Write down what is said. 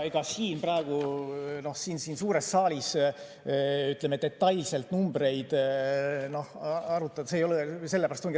Praegu siin suures saalis detailselt numbreid arutada ei ole õige koht.